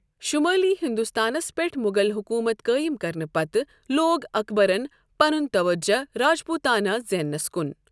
شمالی ہندوستانس پٮ۪ٹھ مغل حکومت قٲئم کرنہٕ پتہٕ لوٗگ اکبرن پَنُن توجہہ راجپوتانہ زینٛنَس کُن۔